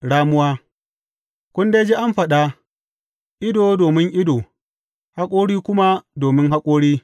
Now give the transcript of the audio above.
Ramuwa Kun dai ji an faɗa, Ido domin ido, haƙori kuma domin haƙori.’